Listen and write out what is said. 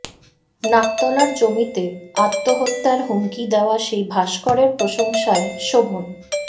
নাকতলার জমিতে আত্মহত্যার হুমকি দেওয়া সেই ভাস্করের প্রশংসায় শোভন